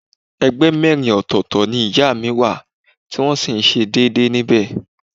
Ẹgbẹ́ mẹ́rin ọ̀tọ̀ọ̀tọ̀ ni ìyá mi wà tí wọ́n sì ń ṣe déédéé níbẹ̀